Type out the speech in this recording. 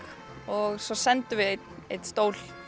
og svo sendum við einn einn stól